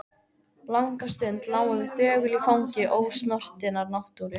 Langa stund lágum við þögul í fangi ósnortinnar náttúru.